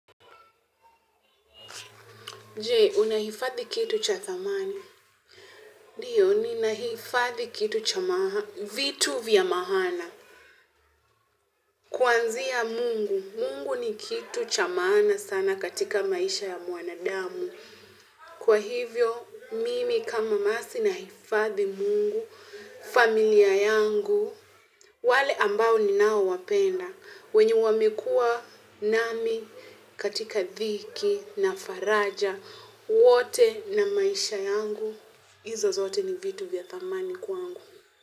Je, unahifadhi kitu cha thamani. Ndiyo ninahifadhi vitu za maana kuanzia Mungu, Mungu ni kitu cha maana sana katika maisha ya mwanadamu. Kwa hivyo, mimi kama masi nahifadhi Mungu, familia yangu, wale ambao ni nao wapenda. Wenye wamekuwa nami katika dhiki na faraja wote na maisha yangu izo zote ni viyu za thamani kwangu.